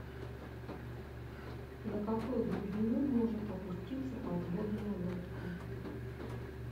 на какую глубину может опуститься подводная лодка